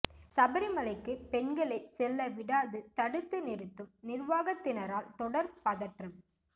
சபரிமலைக்கு பெண்களை செல்ல விடாது தடுத்து நிறுத்தும் நிர்வாகத்தினரால் தொடர் பதற்றம்